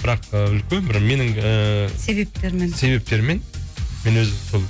бірақ і үлкен бір менің ііі себептермен себептермен мен өз сол